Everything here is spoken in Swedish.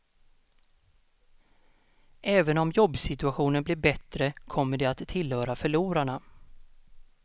Även om jobbsituaionen blir bättre kommer de att tillhöra förlorarna.